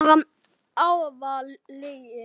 Fólk er bara í áfalli.